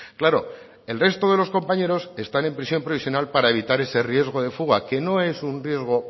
claro el resto de los compañeros están en prisión provisional para evitar ese riesgo de fuga que no es un riesgo